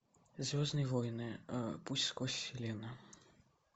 звездные войны путь сквозь вселенную